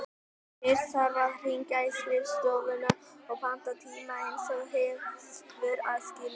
Fyrst þarf að hringja á skrifstofuna og panta tíma, eins og gefur að skilja.